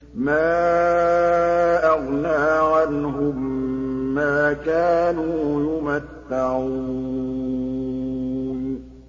مَا أَغْنَىٰ عَنْهُم مَّا كَانُوا يُمَتَّعُونَ